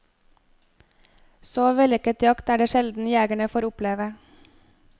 Så vellykket jakt er det sjelden jegerne får oppleve.